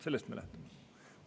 Sellest me lähtume.